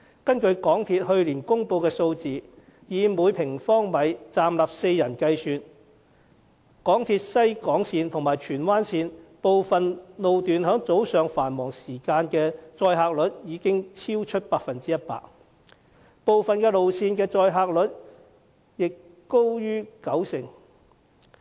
根據香港鐵路有限公司去年公布的數字，以每平方米站立4人計算，港鐵西鐵線和荃灣線部分路段在早上繁忙時間的載客率已經超出 100%， 部分路線的載客率也高於九成。